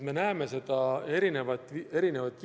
Me näeme seda mitmel viisil.